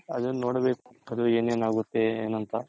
ಅದೆ ನೋಡ್ಬೇಕು ಅದು ಏನಾನಗುತ್ತೆ ಏನು ಅಂತ.